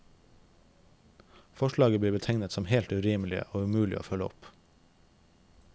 Forslaget blir betegnet som helt urimelig og umulig å følge opp.